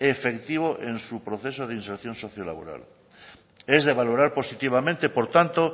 efectivo en su proceso de si inserción socio laboral es de valorar positivamente por tanto